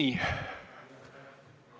Nii.